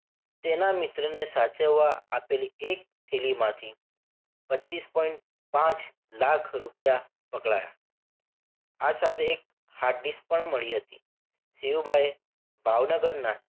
તેના મિત્રને સાચવવા આપેલી એક થેલીમાંથી પચીસ point પાંચ લાખ રૂપિયા પકડાયા. આ સાથે એક hard disc પણ મળી હતી. સિંહુબાએ ભાવનગરના